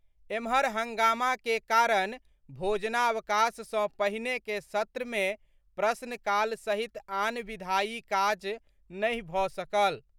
एम्हर हंगामा के कारण भोजनावकाश सँ पहिने के सत्र मे प्रश्नकाल सहित आन विधायी काज नहि भऽ सकल।